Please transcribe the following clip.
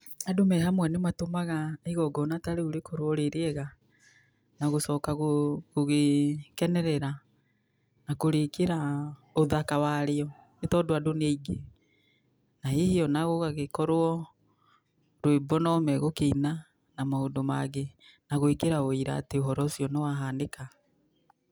Andũ me hamwe nĩ matũmaga igongona tarĩu rĩkorwo rĩ rĩega, na gũcoka gũ gũgĩkenerera, na kũrĩkĩra ũthaka wario, nĩ tondũ andũ nĩaingĩ, na hihi onagũgagĩkorwo rwĩmbo no megũkĩina, na maũndũ mangĩ, na gwĩkĩra wĩira ta ũhoro ũcio nĩwahanĩka.